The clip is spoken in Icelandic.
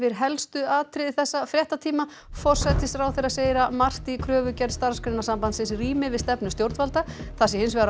helsta úr þessum fréttatíma forsætisráðherra segir að margt í kröfugerð Starfsgreinasambandsins rími við stefnu stjórnvalda það sé hins vegar á